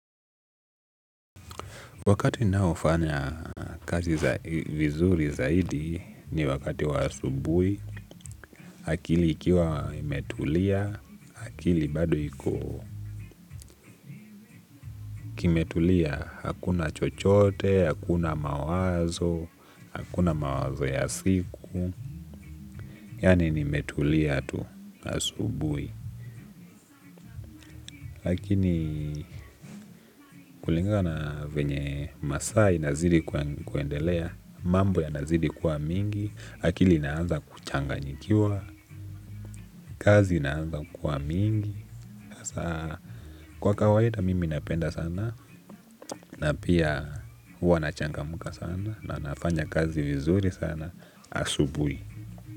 Wakati ninayo fanya kazi vizuri zaidi ni wakati wa asubuhi, akili ikiwa imetuliya akili bado iko himetulia, hakuna chochote, hakuna mawazo, hakuna mawazo ya siku, yani nimetulia tu hasubui. Lakini kulingana venye masaa inazidi kuendelea mambo yanazidi kuwa mingi. Akili inaanza kuchanganyikiwa, kazi inaanza kuwa mingi. Kwa kawaida mimi napenda sana na pia huwa nachangamuka sana na nafanya kazi vizuri sana asubuhi.